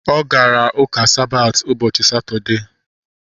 Ọ gara ụka Sabati ụbọchị Satọdee